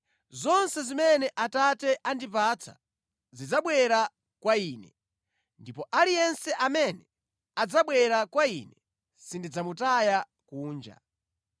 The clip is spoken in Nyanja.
Zonse zimene Atate andipatsa zidzabwera kwa Ine, ndipo aliyense amene adzabwera kwa Ine sindidzamutaya kunja.